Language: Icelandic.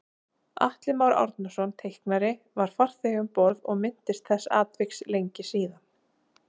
Atli Már Árnason teiknari var farþegi um borð og minntist þessa atviks lengi síðan